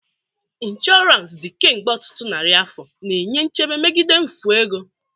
Insurance dị kemgbe ọtụtụ narị afọ, na-enye nchebe megide mfu ego.